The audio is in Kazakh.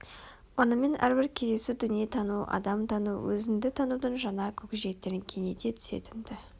онымен әрбір кездесу дүние тану адам тану өзіңді танудың жаңа көкжиектерін кеңейте түсетін-ді